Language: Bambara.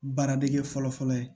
Baara dege fɔlɔ fɔlɔ ye